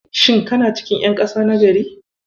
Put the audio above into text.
Shin kana cikin ƴan ƙasa na gari?